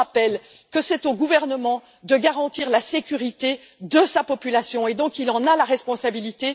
Je rappelle aussi que c'est au gouvernement de garantir la sécurité de sa population et qu'il en a la responsabilité.